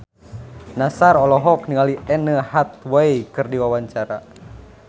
Nassar olohok ningali Anne Hathaway keur diwawancara